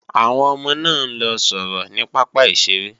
Àwọn ọmọ náà ń lọ sọ̀rọ̀ ní pápá ìṣeré